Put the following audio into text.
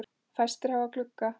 Fæstir hafa glugga.